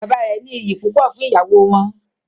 Bàbá rẹ ní ìyí púpọ fún ìyàwó wọn.